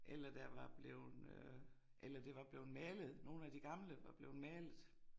Eller der var blevet øh eller det var blevet malet nogle af de gamle var blevet malet